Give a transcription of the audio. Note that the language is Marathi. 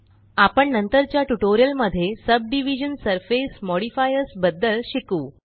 आपण नंतरच्या ट्यूटोरियल मध्ये सबडिव्हिजन सरफेस मॉडिफायर्स बद्दल शिकू